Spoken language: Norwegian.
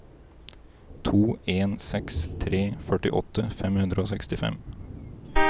to en seks tre førtiåtte fem hundre og sekstifem